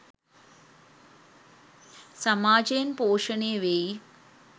සමාජයෙන් පෝෂණය වෙයි